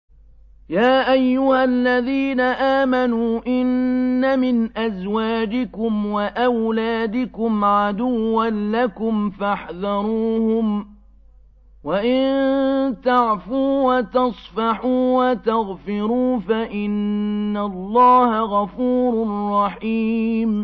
يَا أَيُّهَا الَّذِينَ آمَنُوا إِنَّ مِنْ أَزْوَاجِكُمْ وَأَوْلَادِكُمْ عَدُوًّا لَّكُمْ فَاحْذَرُوهُمْ ۚ وَإِن تَعْفُوا وَتَصْفَحُوا وَتَغْفِرُوا فَإِنَّ اللَّهَ غَفُورٌ رَّحِيمٌ